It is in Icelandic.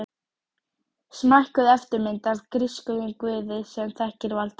Smækkuð eftirmynd af grískum guði sem þekkir vald sitt.